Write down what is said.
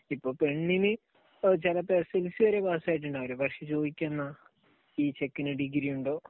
ഇപ്പൊ പെണ്ണിന് ചിലപ്പോൾ എസ്എസ്എൽസി വരെ പാസായിട്ടുണ്ടാവില്ല. പക്ഷെ ചോദിക്കുകയെന്താ ഈ ചെക്കന് ഡിഗ്രിയുണ്ടോ?